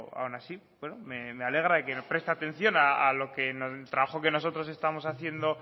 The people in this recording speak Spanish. aun así me alegra que preste atención al trabajo que nosotros estamos haciendo